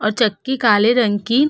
और चक्की काले रंग की --